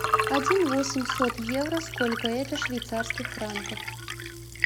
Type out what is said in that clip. один восемьсот евро сколько это швейцарских франков